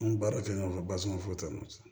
An bɛ baara kɛ ɲɔgɔn fɛ basuman fo n'o tɛ